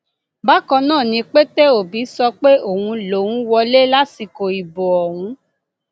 bákan náà ni pété obi sọ pé òun lòún wọlé lásìkò ìbò ọhún